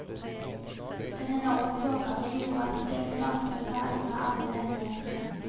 Den enorme pågangen gjorde at det ble vanskelig å ta unna alle henvendelsene.